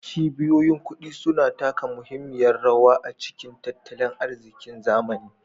Cibiyoyin kuɗi suna taka muhimmiyar rawa a cikin tattalin arzikin zamani